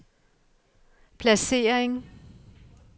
placering